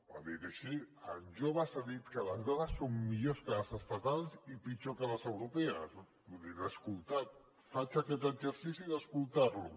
ho ha dit així en joves ha dit que les dades són millors que les estatals i pitjors que les europees vull dir l’he escoltat faig aquest exercici d’escoltar lo